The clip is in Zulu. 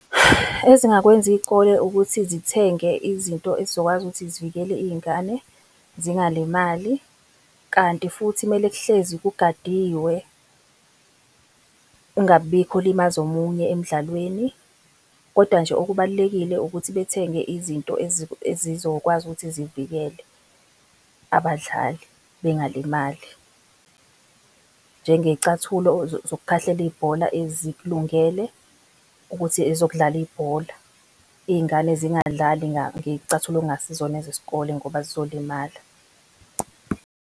Ezingakwenza iy'kole ukuthi zithenge izinto ezizokwazi ukuthi zivikele iy'ngane zingalimali. Kanti futhi kumele kuhlezi kugadiwe, kungabikho olimaza omunye emdlalweni. Koda nje okubalulekile ukuthi bethenge izinto ezizokwazi ukuthi zivikele abadlali bengalimali. Njengey'cathulo zokukhahlela ibhola ezikulungele ukuthi ezokudlala ibhola, iy'ngane zingadlali ngey'cathulo okungasizona ezesikole ngoba zizolimala.